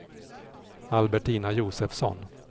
Albertina Josefsson